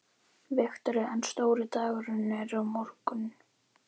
Viktoría: En stóri dagurinn er á morgun?